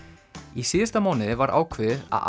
í síðasta mánuði var ákveðið að